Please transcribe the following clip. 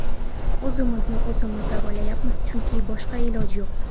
O‘zimizni o‘zimiz davolayapmiz, chunki boshqa iloj yo‘q.